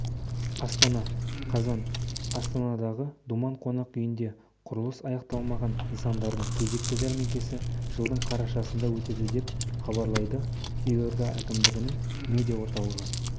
астана қазан астанадағы думан қонақ үйінде құрылысы аяқталмаған нысандардың кезекті жәрмеңкесі жылдың қарашасында өтеді деп хабарлай елорда әкімдігінің медиа орталығы